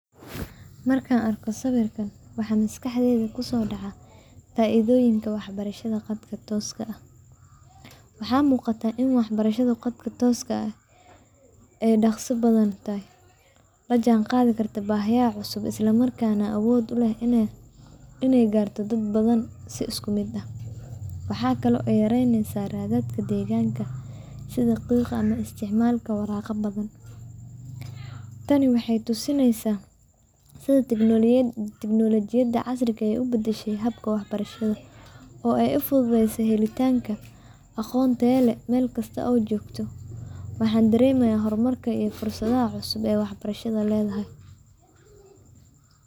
Marka arkoh sawerkan waxa masqaxdeyda kusodacaya faithoyinka waxbarashada Qadka tooska aah, waxa muqatah ini waxbarashada qadka ay daqsi bathanyahay lajanqathi kartoh bahiya cususb ila markan awood u leeh inay kartoh dad bathan si iskumit ah, waxakali oo yareneysah rathatka deganka setha isticmalaka warqadaha tani waxaytosineysah setha technology casrika u badashay seyabka waxbarashada oo ay u futhutheysay helitanga aqoonteda meelksata oo joktoh waxan dareemaha hurmarka iyo fursadaha cususb ee waxbarashada leedahay.